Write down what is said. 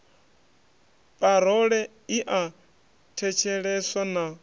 parole i a thetsheleswa na